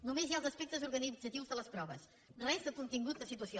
només hi ha els aspectes organitzatius de les proves res de contingut de situació